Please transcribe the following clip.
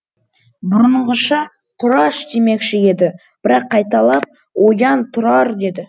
бұрынғыша тұраш демекші еді бірақ қайталап оян тұрар деді